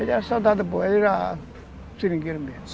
Ele era soldado, ele era seringueiro mesmo.